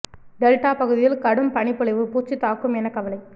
delta பகுதியில் கடும் பனிப்பொழிவு பூச்சி தாக்கும் என கவலை